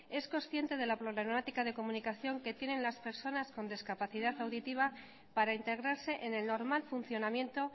es consciente de la problemática de comunicación que tienen las personas con discapacidad auditiva para integrarse en el normal funcionamiento